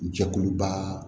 Jɛkuluba